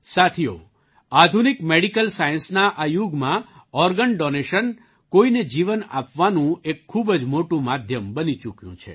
સાથીઓ આધુનિક મેડિકલ સાયન્સના આ યુગમાં ઑર્ગન ડૉનેશન કોઈને જીવન આપવાનું એક ખૂબ જ મોટું માધ્યમ બની ચૂક્યું છે